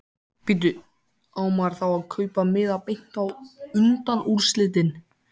Bíddu. á maður þá að kaupa miða beint á undanúrslitin?